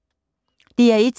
DR1